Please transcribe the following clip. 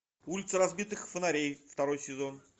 улицы разбитых фонарей второй сезон